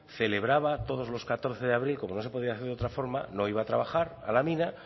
celebraba todos los catorce de abril como no se podía hacer de otra forma no iba a trabajar a la mina